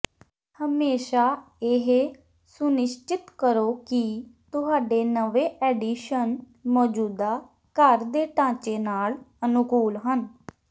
ਹਮੇਸ਼ਾ ਇਹ ਸੁਨਿਸ਼ਚਿਤ ਕਰੋ ਕਿ ਤੁਹਾਡੇ ਨਵੇਂ ਐਡੀਸ਼ਨ ਮੌਜੂਦਾ ਘਰ ਦੇ ਢਾਂਚੇ ਨਾਲ ਅਨੁਕੂਲ ਹਨ